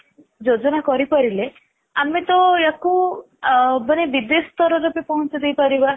ଯୋଜୋନ କରି ପାରିଲେ ଆମେ ତ ୟାକୁ ଅ ମାନେ ବିଦେଶ ସ୍ତର ରେ ବି ପହଞ୍ଚେଇ ଦେଇପାରିବା